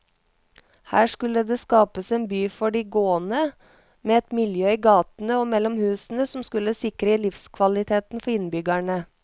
Her skulle det skapes en by for de gående, med et miljø i gatene og mellom husene som skulle sikre livskvaliteten for innbyggerne.